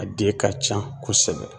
A den ka can kosɛbɛ